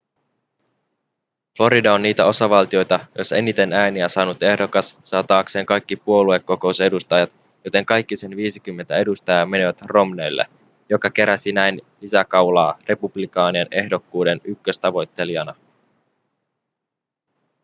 florida on niitä osavaltioita joissa eniten ääniä saanut ehdokas saa taakseen kaikki puoluekokousedustajat joten kaikki sen viisikymmentä edustajaa menivät romneylle joka keräsi näin lisäkaulaa republikaanien ehdokkuuden ykköstavoittelijana